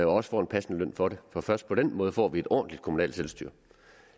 også får en passende løn for det for først på den måde får vi et ordentligt kommunalt selvstyre